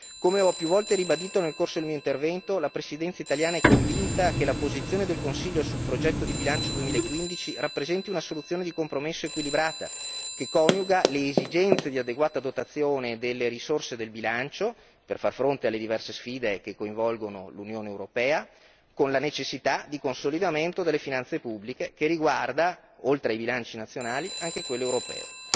Come ho più volte ribadito nel corso del mio intervento, la Presidenza italiana è convinta che la posizione del Consiglio sul progetto di bilancio 2015 rappresenti una soluzione di compromesso equilibrata, che coniuga le esigenze di adeguata dotazione delle risorse del bilancio per far fronte alle diverse sfide che coinvolgono l'Unione europea, con la necessità di consolidamento delle finanze pubbliche che riguarda, oltre ai bilanci nazionali, anche quello europeo.